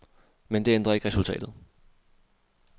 Men det ændrer ikke resultatet.